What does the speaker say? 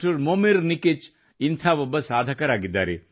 Momir Nikic ಇಂಥ ಒಬ್ಬ ಸಾಧಕರಾಗಿದ್ದಾರೆ